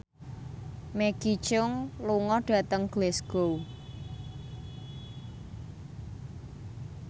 Maggie Cheung lunga dhateng Glasgow